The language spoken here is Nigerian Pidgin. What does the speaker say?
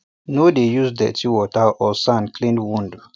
no dey use dirty water or sand clean wound